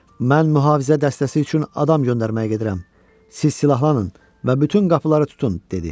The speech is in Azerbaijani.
Mən mühafizə dəstəsi üçün adam göndərməyə gedirəm, siz silahlanın və bütün qapıları tutun," dedi.